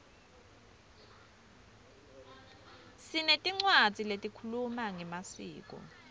sinetincwadzi lehkhuluma ngemaskco